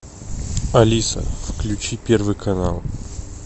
алиса включи первый канал